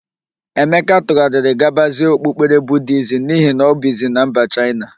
Emeka tụgharịrị gabazie okpukpere Budiizm n'ihi na ọ bizi na mba Chaịna.